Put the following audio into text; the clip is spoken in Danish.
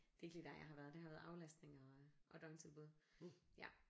Det er ikke lige der jeg har været det har været aflastning og og døgntilbud ja